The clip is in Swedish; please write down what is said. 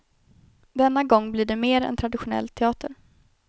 Denna gång blir det mer en traditionell teater.